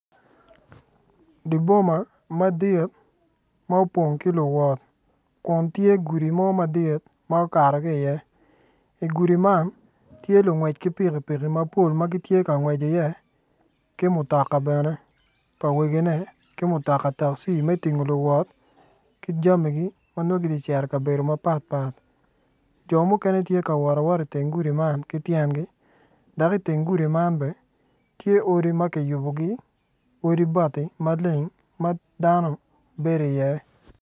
Di boma madit ma opong ki luwot kun tye gudi mo madit ma okato ki iye igudi man, tye lungwec ki pikipiki mapol ma gitye ka ngwec iye ki mutoka bene pa wegine ki mutoka takci me tingo luwot ki jamigi ma nongo giti ka cito i ka bedo mapatpat jo mukene tye ka wot awot iteng gudi man ki tyengi dak i teng gudi man bene tye odi ma ki yubogi odi bati maleng ma dano bedi iye